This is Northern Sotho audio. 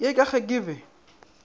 ye ka ge ke be